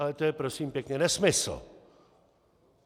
Ale to je, prosím pěkně, nesmysl!